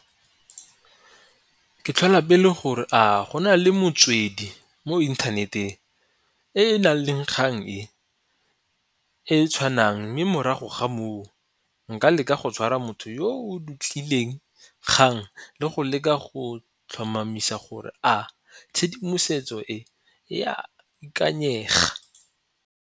Ke tlhola pele gore a go na le motswedi mo inthaneteng e e nang le kgang e, e tshwanang mme morago ga moo nka leka go tshwara motho yo o dutlileng kgang le go leka go tlhomamisa gore a tshedimosetso e e a ikanyega.